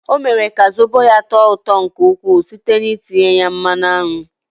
Ọ mere ka zobo ya tọọ ụtọ nke ukwuu site n'itinye ya mmanụ aṅụ.